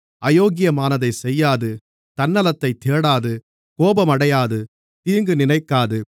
அயோக்கியமானதைச் செய்யாது தன்னலத்தைத் தேடாது கோபமடையாது தீங்கு நினைக்காது